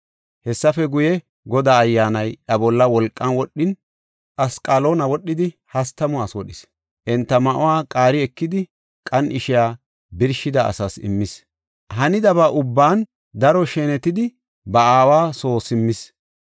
Hessafe guye, Godaa Ayyaanay iya bolla wolqan wodhin, Asqaloona wodhidi, hastamu asi wodhis. Enta ma7uwa qaari ekidi qan7ishiya birshida asaas immis. Hanidaba ubban daro shenetidi ba aawa soo simmis.